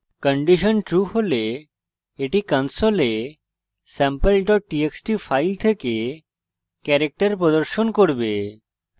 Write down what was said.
condition true হলে এটি console sample txt file থেকে ক্যারেক্টার প্রদর্শন করবে